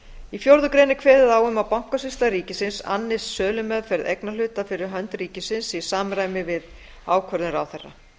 í fjórða grein er kveðið á um að bankasýsla ríkisins annist sölumeðferð eignarhluta fyrir hönd ríkisins í samræmi við ákvörðun ráðherra